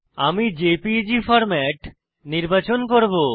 আমি JPEG format নির্বাচন করব